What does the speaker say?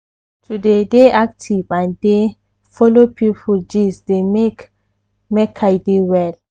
to dey dey active and dey follow people gist dey make make i dey well.